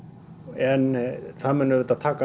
en það mun auðvitað taka